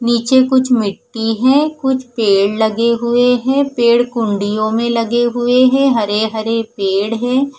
नीचे कुछ मिटी है कुछ पेड़ लगे हुए है पेड़ कुण्डियों में लगे हुए है हरे हरे पेड़ है।